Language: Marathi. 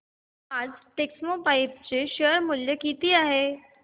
आज टेक्स्मोपाइप्स चे शेअर मूल्य किती आहे